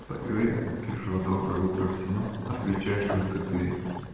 стою я пишу доброе утро всем отвечаешь только ты